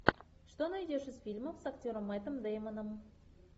что найдешь из фильмов с актером мэттом дэймоном